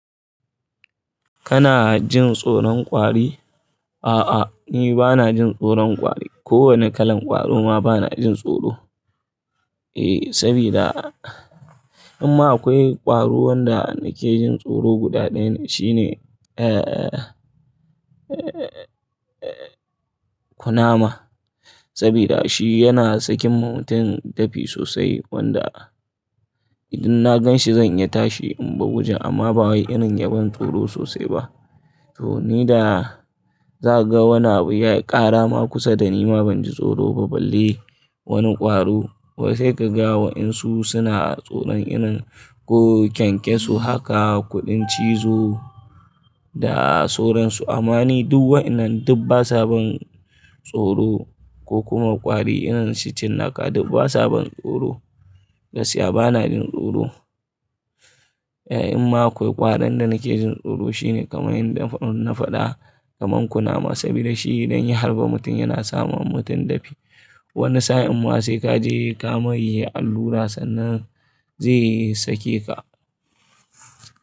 Kana jin tsoron ƙwari? A'a, ni bana jin tsoron ƙwari. Ko wane kalan ƙwaro ma bana jin tsoro. Eh, sabida, amma akwai ƙwaro wanda nake jin tsoro guda ɗaya shine, eh, eh, eh, eh, kunama. Sabida shi yana sakin mutum dafi sosai wanda idun na gan shi zan iya tashi in baje amma ba wai irin ya ban tsoro sosai ba. To ni da za ka ga wani abu yayi ƙara ma kusa da ni ma ban ji tsoro ba balle wani ƙwaro. Wai sai ka ga waɗansu suna tsoron irin ko kyankyaso haka kuɗin cizo da sauran su. Amma ni duk wa'inan duk basa ban tsoro ko kuma ƙwari irin su cinnaka duk basa ban tsoro. Gaskiya bana jin tsoro. Eh, imma akwai ƙwaron da nake jin tsoro shine kamar yanda na faɗa kamar kunama sabida shi idan ya harba mutum yana sama mutum dafi. Wani sa'in ma sai kaje kamai allura sannan zai sake ka.